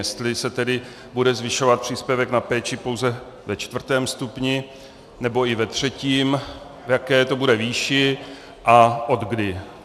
Jestli se tedy bude zvyšovat příspěvek na péči pouze ve čtvrtém stupni, nebo i ve třetím, v jaké to bude výši a odkdy.